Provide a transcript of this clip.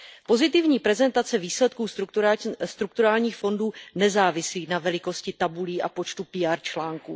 Pozitivní prezentace výsledků strukturálních fondů nezávisí na velikosti tabulí a počtu PR článků.